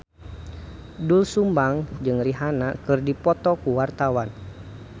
Doel Sumbang jeung Rihanna keur dipoto ku wartawan